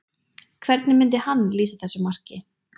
Hvernig myndi hann lýsa þessu marki?